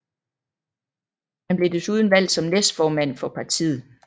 Han blev desuden valgt som næstformand for partiet